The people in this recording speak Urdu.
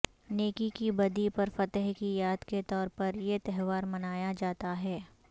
نیکی کی بدی پر فتح کی یاد کے طور پر یہ تہوار منایا جاتا ہے